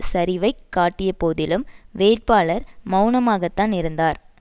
சரிவைக் காட்டிய போதிலும் வேட்பாளர் மெளனமாகத்தான் இருந்தார்